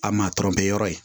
A ma tɔrɔ bɛ yɔrɔ ye